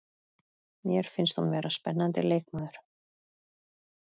Mér finnst hún vera spennandi leikmaður.